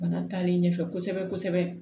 Bana taalen ɲɛfɛ kosɛbɛ kosɛbɛ